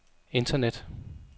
internet